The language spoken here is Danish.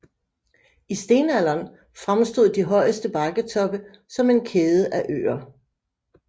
I stenalderen fremstod de højeste bakketoppe som en kæde af øer